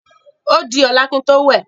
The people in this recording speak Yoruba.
òdí ọlá kín tó wẹ.